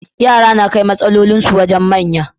Yara nakai matsalolin su wajan manya